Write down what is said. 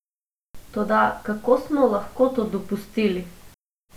Toda kako smo lahko to dopustili?